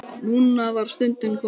Núna var stundin komin.